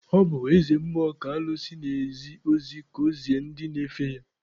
Ọ bụ eze mmụọ ka alụsị na-ezi ozi ka ọ zie ndị na-efe ya.